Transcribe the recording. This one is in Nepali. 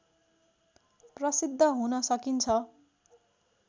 प्रशिद्ध हुन सकिन्छ